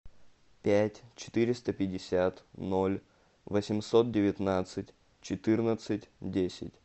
пять четыреста пятьдесят ноль восемьсот девятнадцать четырнадцать десять